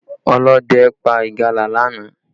Ọlọ́dẹ pa ìgalà lánàá